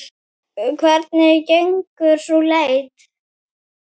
Hvernig gengur sú leit?